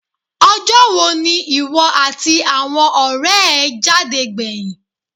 Ọjọ́ wo ni ìwọ àti àwọn ọ̀rẹ́ ẹ jáde gbẹ̀yìn?